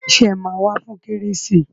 Ṣé ẹ máa wá fún kérésì